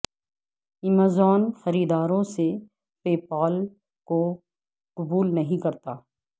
Amazon خریداروں سے PayPal کو قبول نہیں کرتا